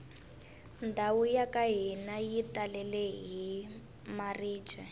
ndhawu yaka hina yi talele hi maribye